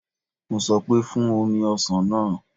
Mo sọ pé, Fún omi ọsàn náà